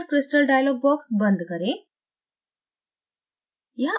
insert crystal dialog box बंद करें